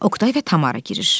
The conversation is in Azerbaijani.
Oqtay və Tamara girir.